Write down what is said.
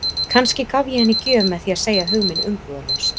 Kannski gaf ég henni gjöf með því að segja hug minn umbúðalaust.